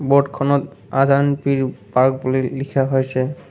বোৰ্ডখনত Azan Pir park বুলি লিখা হৈছে।